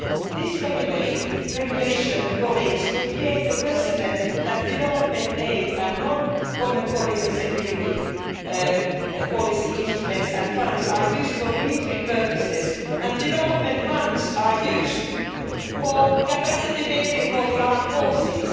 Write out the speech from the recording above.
This regulation would create the precedent that development aid and non Common Foreign and Security Policy instruments and funds are used for military purposes and development funds are used for capacity building for the armed forces.